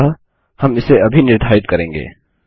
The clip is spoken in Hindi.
अतः हम इसे अभी निर्धारित करेंगे